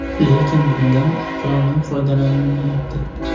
Lekin bundan oqilona foydalanilmayapti.